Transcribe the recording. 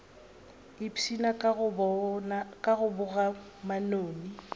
ipshina ka go boga manoni